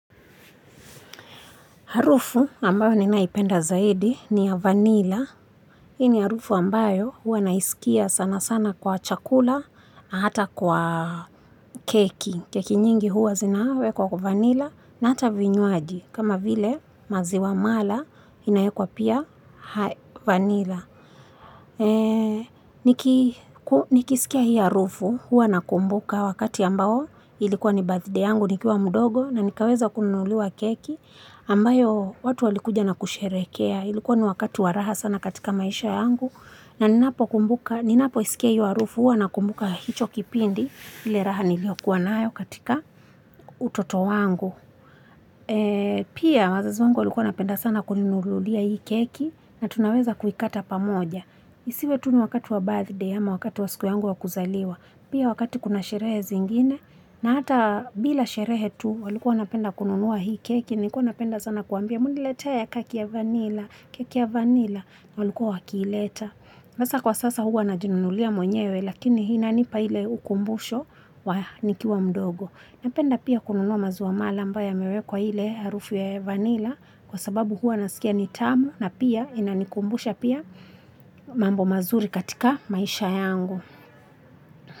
Harufu ambayo ninaipenda zaidi ni ya vanilla. Hii ni harufu ambayo huwa naisikia sana sana kwa chakula, hata kwa keki. Keki nyingi huwa zinawe kwa vanilla na hata vinywaji. Kama vile maziwa mala inawekwa pia vanilla. Nikisikia hiyo harufu huwa nakumbuka wakati ambao ilikuwa nibathide yangu nikiwa mdogo na nikaweza kunuliwa keki. Ambayo watu walikuja na kusherehekea ilikuwa ni wakati wa raha sana katika maisha yangu na ninapo kumbuka ninapo isikia hiyo harufu huwa na kumbuka hicho kipindi ile raha niliyokuwa nayo katika utoto wangu pia wazazi wangu walikuwa wanapenda sana kuninunulia hii keki na tunaweza kuikata pamoja isiwe tu ni wakati wa birthday ama wakati wa siku yangu wakuzaliwa pia wakati kuna sherehe zingine na hata bila sherehe tu walikua wanapenda kununua hii keki Nilikuwa napenda sana kuwambia muniletee keki ya vanila, keki ya vanila, walikua wakiileta. Hasa kwa sasa huwa na jinunulia mwenyewe lakini inanipa ile ukumbusho wa nikiwa mdogo. Napenda pia kununua maziwamala ambayo yamewekwa ile harufu ya vanila kwa sababu huwa nasikia nitamu na pia inanikumbusha pia mambo mazuri katika maisha yangu.